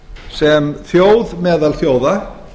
sem þjóð meðal þjóða